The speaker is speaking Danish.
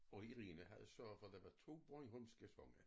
Og Irina havde sørget for der var 2 bornholmske sange